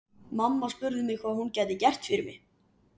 Mamma spurði hvað hún gæti gert fyrir mig.